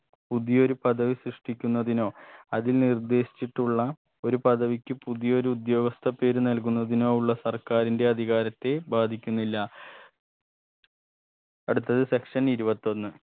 പുതിയൊരു പദവി സൃഷ്ടിക്കുന്നതിനോ അതിൽ നിർദ്ദേശിച്ചിട്ടുള്ള ഒരു പദവിക്ക് പുതിയൊരു ഉദ്യോഗസ്ഥ പേര് നൽകുന്നതിനോ ഉള്ള സർക്കാരിന്റെ അധികാരത്തെ ബാധിക്കുന്നില്ല അടുത്ത section ഇരുപത്തൊന്ന്